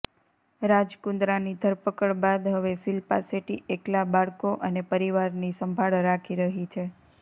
રાજ કુન્દ્રાની ધરપકડ બાદ હવે શિલ્પા શેટ્ટી એકલા બાળકો અને પરિવારની સંભાળ રાખી રહી છે